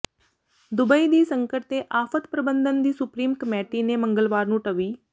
Dubai ਦੀ ਸੰਕਟ ਤੇ ਆਫਤ ਪ੍ਰਬੰਧਨ ਦੀ ਸੁਪਰੀਮ ਕਮੇਟੀ ਨੇ ਮੰਗਲਵਾਰ ਨੂੰ ਟਵੀ